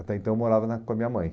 Até então eu morava na com a minha mãe.